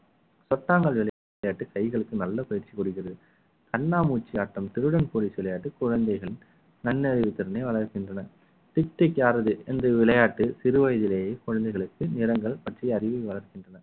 பத்தாங்கல் விளையாட்டு கைகளுக்கு நல்ல பயிற்சி கொடுக்கிறது கண்ணாமூச்சி ஆட்டம் திருடன் போலீஸ் விளையாட்டு குழந்தைகள் நன்னறிவு திறனை வளர்க்கின்றன டிக் டிக் யாரது என்று விளையாட்டு சிறுவயதிலேயே குழந்தைகளுக்கு நிறங்கள் பற்றி அறிவை வளர்க்கின்றன